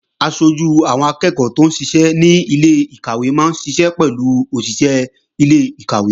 Aṣojú àwọn akẹ́ẹ̀kọ́ tóún ṣiṣẹ́ ní ilé-ìkàwé máa ń ṣiṣẹ́ pẹ̀lú òṣìṣé ilé-ìkàwé